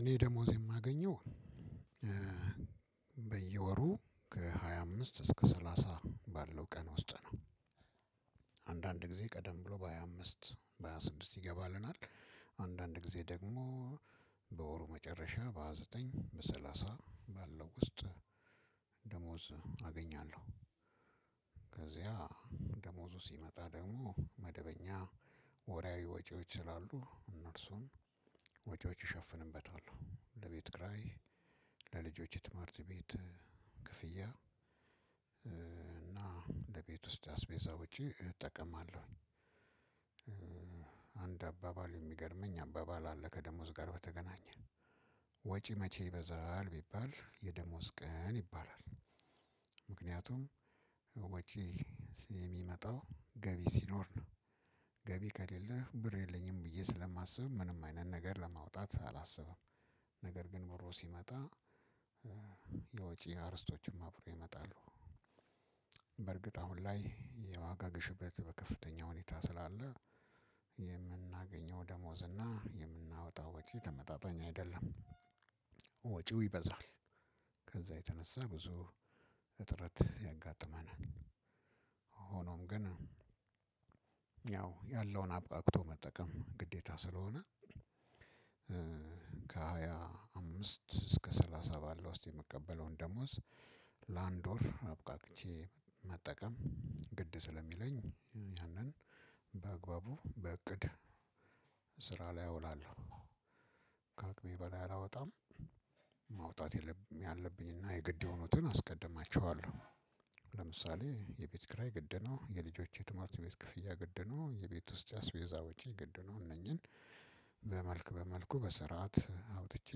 እኔ ደሞዝ የማገኘው በየወሩ ከ ሃያ አምስት እስከ ሰላሳ ባለው ቀን ውስጥ ነው። አንዳንድ ጊዜ ቀደም ብሎ በሃያ አምስት በሃያ ስድስት ይገባልናል። አንዳንድ ጊዜ ደግሞ በወሩ መጨረሻ በሃያ ዘጠኝ በሰላሳ ባለው ውስጥ ደሞዝ አገኛለሁ። ከዚያ ደሞዙ ሲመጣ ደግሞ መደበኛ ወራዊ ወጪዎች ስላሉ እነርሱን ወጪዎች እሸፍንበታል ለቤት ክራይ ለልጆች የትምህርት ቤት ክፍያ እና እንደ ቤት ውስጥ አስቤዛ ውጪ እጠቀማለሁኝ። አንድ አባባል እሚገርመኝ አባባል አለ ከደሞዝ ጋር በተገናኘ ወጪ መቼ ይበዛል ቢባል የደሞዝ ቀን ይባላል። ምክንያቱም ወጪ እሚመጣው ገቢ ሲኖር ነው። ገቢ ከሌለህ ብር የለኝም ብዬ ስለማስብ ምንም አይነት ነገር ለማውጣት አላስብም። ነገር ግን ብሩ ሲመጣ የወጪ አርስቶችም አብሮ ይመጣሉ። በእርግጥ አሁን ላይ የዋጋ ግሽበት በከፍተኛ ሁኔታ ስላለ የምናገኘው ደሞዝና የምናወጣው ወጪ ተመጣጣኝ አይደለም። ወጪው ይበዛል። ከዛ የተነሳ ብዙ እጥረት ያጋጥመናል። ሆኖም ግን ያው ያለውን አብቃቅቶ መጠቀም ግዴታ ስለሆነ። ከ ሃያ አምስት እስከ ሰላሳ እምቀበለውን ደሞዝ ለ አንድ ወር አብቃቅቼ መጠቀም ግድ ስለሚለኝ ያንን በአግባቡ በእቅድ ስራ ላይ አውላለሁ። ከ አቅሜ በላይ አላወጣም። ማውጣት ያለብኝና የግድ የሆኑትን አስቀድማቸዋለሁ። ለምሳሌ የቤት ክራይ ግድ ነው የልጆቼ የትምህርት ቤት ክፍያ ግድ ነው የቤት ውስጥ አስቤዛ ውጪ ግድ ነው። እነኚህን በመልክ በመልኩ በስርዓት አውጥቼ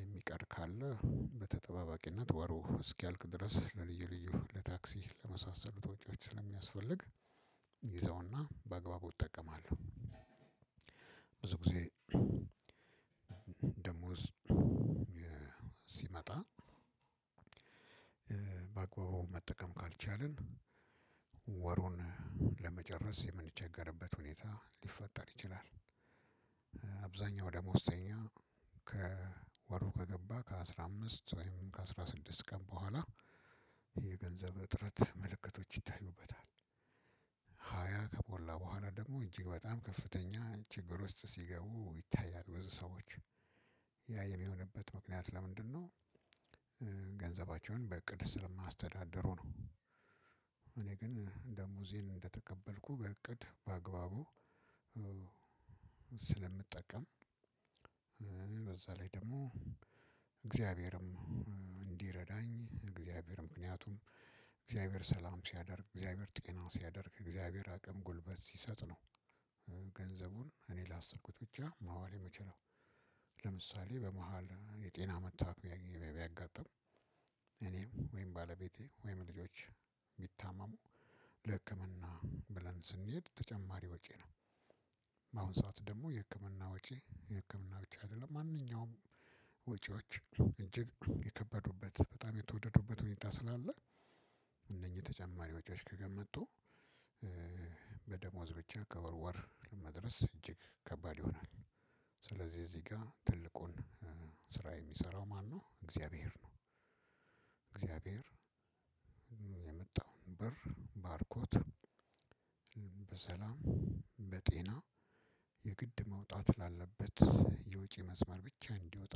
የሚቀር ካለ በተጠባባቂነት ወሩ እስኪያልቅ ድረስ ለልዩ ልዩ ለታክሲ ለመሳሰሉት ወጪዎች ስለሚያስፈልግ ይዘውና በአግባቡ እጠቀማለሁ። ብዙ ጊዜ ደሞዝ ሲመጣ በአግባቡ መጠቀም ካልቻልን ወሩን ለመጨረስ የምንቸገርበት ሁኔታ ሊፈጠር ይችላል። አብዛኛው ደሞዝተኛ ከወሩ ከገባ ከአስራ አምስት ወይም ከአስራ ስድስት ቀን በኋላ የገንዘብ እጥረት ምልክቶች ይታዩበታል። ሃያ ከሞላ በኋላ ደግሞ እጅግ በጣም ከፍተኛ ችግር ውስጥ ሲገቡ ይታያል ብዙ ሰዎች ያ የሚሆንበት ምክንያት ለምንድነው? ገንዘባቸውን በእቅድ ስለማያስተዳድሩ ነው። እኔ ግን ደሞዜን እንደተቀበልኩ በእቅድ በአግባቡ ስለምጠቀም በዛ ላይ ደሞ እግዚአብሔርም እንዲረዳኝ እግዚአብሔር ምክንያቱም እግዚአብሔር ሰላም ሲያደርግ እግዚአብሔር ጤና ሲያደርግ እግዚአብሔር አቅም ጉልበት ሲሰጥ ነው። ገንዘቡን እኔ ላሰብኩት ብቻ ማዋል የምችለው ለምሳሌ በመሃል የጤና መታወክ ቢያጋጥም እኔም ወይም ባለቤቴ ወይም ልጆች ቢታመሙ ለህክምና ብለን ስንሄድ ተጨማሪ ወጪ ነው። በአሁን ሰዓት ደግሞ የህክምና ወጪ የህክምና ብቻ አይደለም ማንኛውም ወጪዎች እጅግ የከበዱበት በጣም የተወደዱበት ሁኔታ ስላለ እነኚህ ተጨማሪ ወጪዎች ከመጡ በደሞዝ ብቻ ከወርወር ለመድረስ እጅግ ከባድ ይሆናል። ስለዚህ እዚህ ጋር ትልቁን ስራ የሚሰራው ማነው እግዚአብሔር ነው። እግዚአብሔር የመጣውን ብር ባርኮት በሰላም በጤና የግድ መውጣት ላለበት የውጪ መስመር ብቻ እንዲወጣ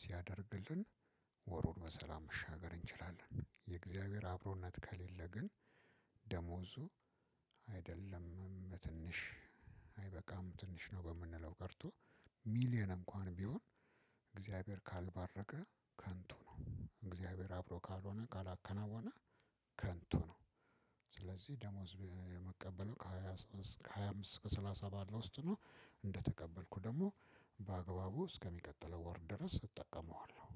ሲያደርግልን ወሩን በሰላም መሻገር እንችላለን። የእግዚአብሔር አብሮነት ከሌለ ግን ደሞዙ አይደለም በትንሽ አይበቃም ትንሽ ነው በምንለው ቀርቶ ሚሊየን እንኳን ቢሆን እግዚአብሔር ካልባረከ ከንቱ ነው። እግዚአብሔር አብሮ ካልሆነ ካላከናወነ ከንቱ ነው። ስለዚህ ደሞዝ እምቀበለው ከሃያ እስከ ሃያ አምስት እስከ ሰላሳ ባለው ውስጥ ነው። እንደተቀበልኩ ደሞ በአግባቡ እስከሚቀጥለው ወር ድረስ እጠቀመዋለሁ።